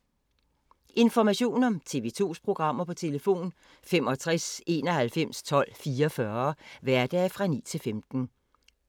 Information om TV 2's programmer: 65 91 12 44, hverdage 9-15.